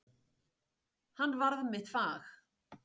Hann varð mitt fag.